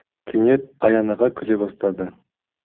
кенет аян аға күле бастады